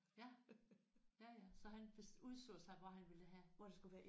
Ja. Ja ja så han udså sig hvor han ville have